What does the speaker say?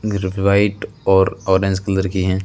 मेरे को व्हाइट और ऑरेंज कलर की हैं।